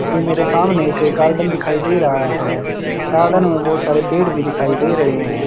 ये मेरे सामने एक गार्डन दिखाई दे रहा है गार्डन में बहोत सारे पेड़ भी दिखाई दे रहे हैं।